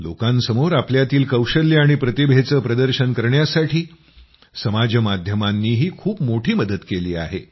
लोकांसमोर आपल्यातील कौशल्य आणि प्रतिभेचं प्रदर्शन करण्यासाठी समाज माध्यमांनीही खूप मोठी मदत केली आहे